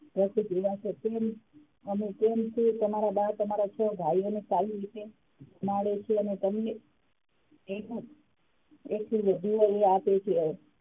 તમે કેમ છો તમારા બા તમારા છો ભાઈઓને સારી રીતે જમાડે છે અને તમને એવુજ આપે છે.